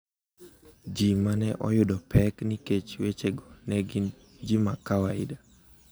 ‘Ji ma ne oyudo pek nikech wechego ne gin ji ma kawaida.